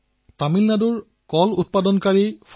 ইয়াত আছে তামিলনাডু কল কৃষক উৎপাদন উদ্যোগ